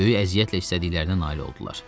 Böyük əziyyətlə istədiklərinə nail oldular.